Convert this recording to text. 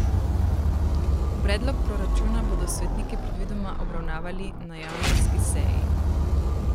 Predlog proračuna bodo svetniki predvidoma obravnavali na januarski seji.